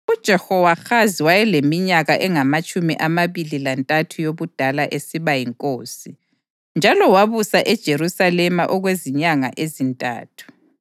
UJehowahazi wayeleminyaka engamatshumi amabili lantathu yobudala esiba yinkosi, njalo wabusa eJerusalema okwezinyanga ezintathu.